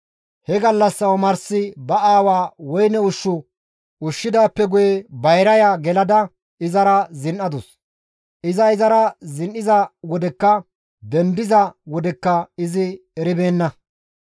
He gallassa omarsika ba aawaa woyne ushshu ushshidaappe guye bayraya gelada izara zin7adus; iza izara zin7iza wodekka dendiza wodekka izi eribeenna.